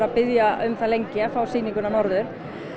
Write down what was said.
biðja um það lengi að fá sýninguna norður